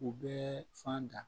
U bɛɛ fan da